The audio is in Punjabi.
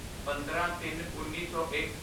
ਪੰਦਰਾਂਤਿੰਨਉੱਨੀ ਸੌ ਇੱਕ